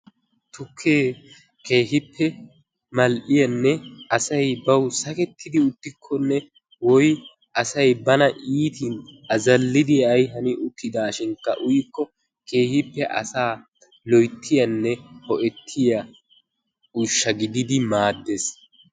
Tukkee keehippe mal"iyaanne asay bawu sakkettidi uttikonne woy asay bana iitin azallidi ay hani uttidashinkka uyikko keehippe asaa loyttiyaanne ho"ettiyaa uushsha giididi maaddees.